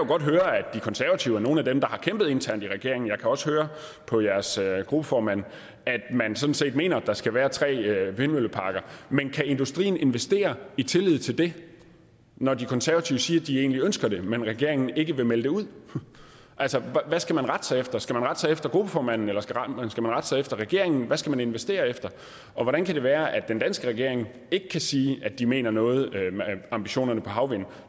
godt høre at de konservative er nogle af dem der har kæmpet internt i regeringen jeg kan også høre på jeres gruppeformand at man sådan set mener at der skal være tre vindmølleparker men kan industrien investere i tillid til det når de konservative siger at de egentlig ønsker det men regeringen ikke vil melde det ud altså hvad skal man rette sig efter skal man rette sig efter gruppeformanden eller skal man rette sig efter regeringen hvad skal man investere efter og hvordan kan det være at den danske regering ikke kan sige at de mener noget med ambitionerne for havvind